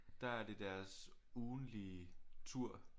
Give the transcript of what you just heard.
Der er det deres ugentlige tur